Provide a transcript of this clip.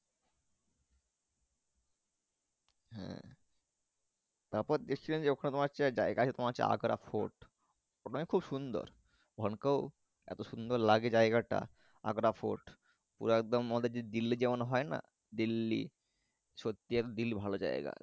তারপরে দেখছিলাম ওখানে তোমার যাই গা আছে তোমার আগ্রা ফুট ওখানে খুব সুন্দর ওখানে কই এত সুন্দর লাগে জায়গাটা আগ্রা ফুট ও একদম দিল্লি যেমন হয় না দিল্লি সত্যি দিল্লি ভালো জায়গা।